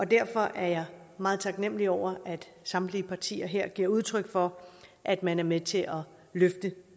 derfor er jeg meget taknemlig over at samtlige partier her giver udtryk for at man er med til at løfte